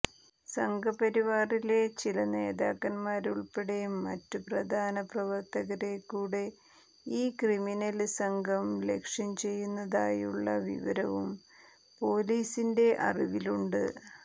സംഘപരിവാറിലെ ചില നേതാക്കന്മാരെയുള്പ്പടെ മറ്റ് പ്രധാന പ്രവര്ത്തകരെക്കൂടെ ഈ ക്രിമിനല് സംഘം ലക്ഷ്യം ചെയ്യുന്നതായുള്ള വിവരവും പോലീസിന്റെ അറിവിലുണ്ട്